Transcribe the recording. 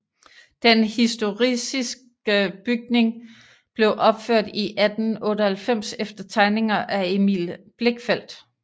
Den historicistiske bygning blev opført i 1898 efter tegninger af Emil Blichfeldt